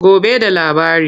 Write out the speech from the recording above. Gobe da labari.